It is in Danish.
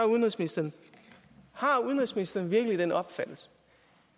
udenrigsministeren har udenrigsministeren virkelig den opfattelse